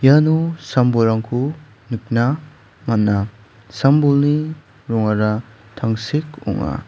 iano sam-bolrangko nikna man·a sam-bolni rongara tangsek ong·a.